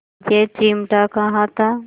यह चिमटा कहाँ था